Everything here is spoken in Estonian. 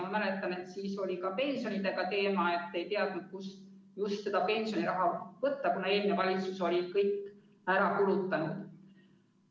Ma mäletan, et siis oli ka pensioniteema päevakorral – ei teatud, kust seda pensioniraha võtta, kuna eelmine valitsus oli kõik ära kulutanud.